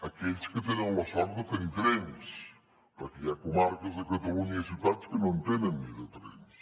aquells que tenen la sort de tenir trens perquè hi ha comarques de catalunya i ciutats que ni en tenen de trens